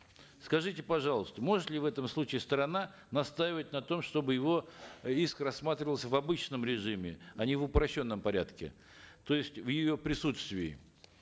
скажите пожалуйста может ли в этом случае сторона настаивать на том чтобы его иск рассматривался в обычном режиме а не в упрощенном порядке то есть в ее присутствии